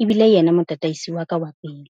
E bile yena motataisi wa ka wa pele.